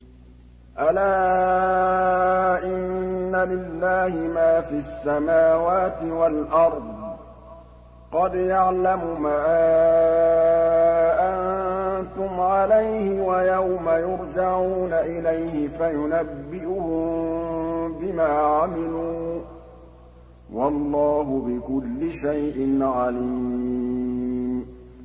أَلَا إِنَّ لِلَّهِ مَا فِي السَّمَاوَاتِ وَالْأَرْضِ ۖ قَدْ يَعْلَمُ مَا أَنتُمْ عَلَيْهِ وَيَوْمَ يُرْجَعُونَ إِلَيْهِ فَيُنَبِّئُهُم بِمَا عَمِلُوا ۗ وَاللَّهُ بِكُلِّ شَيْءٍ عَلِيمٌ